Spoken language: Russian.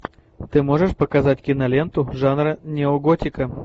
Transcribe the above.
ты можешь показать киноленту жанра неоготика